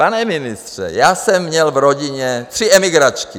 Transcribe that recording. Pane ministře, já jsem měl v rodině tři emigračky.